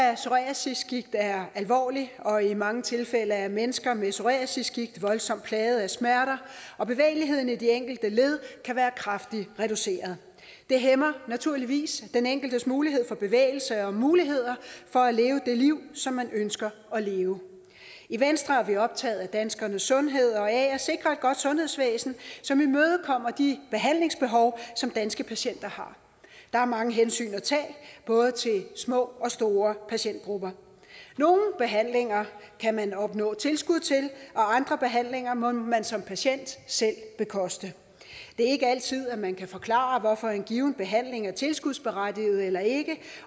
af psoriasisgigt er alvorligt og i mange tilfælde er mennesker med psoriasisgigt voldsomt plaget af smerter og bevægeligheden i de enkelte led kan være kraftigt reduceret det hæmmer naturligvis den enkeltes mulighed for bevægelse og muligheder for at leve det liv som man ønsker at leve i venstre er vi optaget af danskernes sundhed og af at sikre et godt sundhedsvæsen som imødekommer de behandlingsbehov som danske patienter har der er mange hensyn at tage både til små og store patientgrupper nogle behandlinger kan man opnå tilskud til og andre behandlinger må man som patient selv bekoste det er ikke altid at man kan forklare hvorfor en given behandling er tilskudsberettiget eller ikke er